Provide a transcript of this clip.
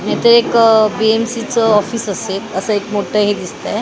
इथे एक बी_एम_सी च ऑफिस असेल असं एक मोठं हे दिसतय.